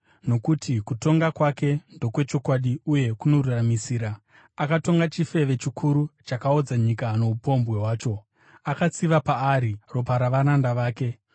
nokuti kutonga kwake ndokwechokwadi uye kunoruramisira. Akatonga chifeve chikuru chakaodza nyika noupombwe hwacho. Akatsiva paari ropa ravaranda vake.”